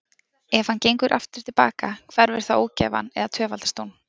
Ef hann gengur aftur til baka, hverfur þá ógæfan eða tvöfaldast hún?